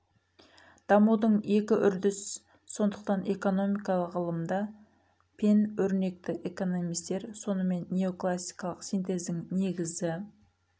дамудың екі үрдіс сондықтан экономикалық ғылымда пен көрнекті экономистер сонымен неоклассикалық синтездің негізі